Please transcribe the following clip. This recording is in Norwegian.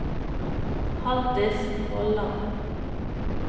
Haldis Vollan